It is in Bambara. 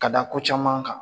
Ka da ko caman kan